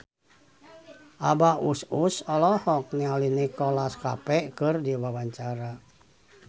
Abah Us Us olohok ningali Nicholas Cafe keur diwawancara